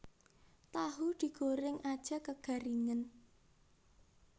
Tahu digoreng aja kegaringen